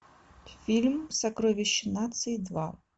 фильм сокровище нации два